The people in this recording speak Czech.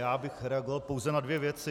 Já bych reagoval pouze na dvě věci.